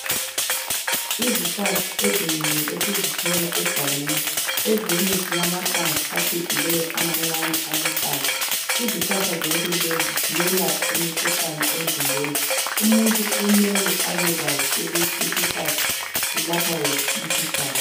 Izihlahla ezinengi esizithola egangeni. Ezinye zilamahlamvu acijileyo amancane aluhlaza. Izihlahla zonke lezi ziyelapha imikhuhlane emzimbeni. Umuntu kumele abekwazi ukuthi isihlahla silapha wuphi umkhuhlane.